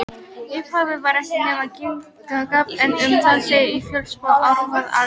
Í upphafi var ekkert nema Ginnungagap en um það segir í Völuspá: Ár var alda,